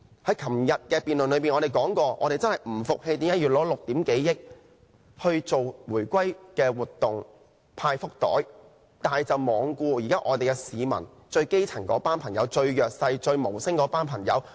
在昨天辯論時，我們說過我們不服氣為何要耗費6億多元舉行回歸活動、派福袋，但卻罔顧市民——最基層、最弱勢、最無聲的朋友——的需要。